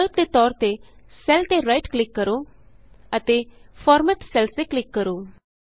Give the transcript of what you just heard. ਵਿਕਲਪ ਦੇ ਤੌਰ ਤੇ ਸੈੱਲ ਤੇ ਰਾਈਟ ਕਲਿਕ ਕਰੋ ਅਤੇ ਫਾਰਮੈਟ ਸੈਲਜ਼ ਤੇ ਕਲਿਕ ਕਰੋ